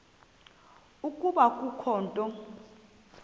ukuba kukho into